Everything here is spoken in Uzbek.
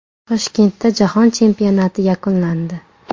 Toshkentda jahon chempionati yakunlandi.